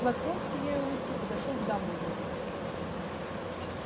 локонс сияя улыбкой подошёл к дамблдору